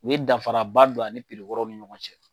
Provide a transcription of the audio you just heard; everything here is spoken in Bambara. U ye danfara ba don ani piri kɔrɔw ni ɲɔgɔn cɛ.